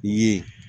I ye